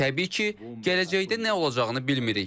Təbii ki, gələcəkdə nə olacağını bilmirik.